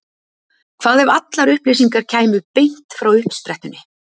Hvað ef allar upplýsingar kæmu beint frá uppsprettunni?